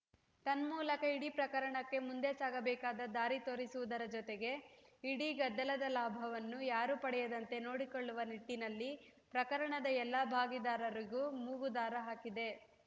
ತನ್ಮೂಲಕ ಇಡೀ ಪ್ರಕರಣಕ್ಕೆ ಮುಂದೆ ಸಾಗಬೇಕಾದ ದಾರಿ ತೋರಿಸುವುದರ ಜೊತೆಗೆ ಇಡೀ ಗದ್ದಲದ ಲಾಭವನ್ನು ಯಾರೂ ಪಡೆಯದಂತೆ ನೋಡಿಕೊಳ್ಳುವ ನಿಟ್ಟಿನಲ್ಲಿ ಪ್ರಕರಣದ ಎಲ್ಲಾ ಭಾಗಿದಾರರಿಗೂ ಮೂಗುದಾರ ಹಾಕಿದೆ